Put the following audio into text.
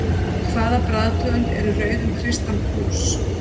Hvaða bragðtegund er í rauðum kristal plús?